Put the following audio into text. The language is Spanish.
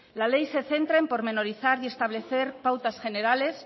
la ley se centra en pormenorizar y establecer pautas generales